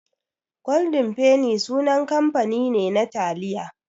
Golden penny sunan kamfani ne na taliya.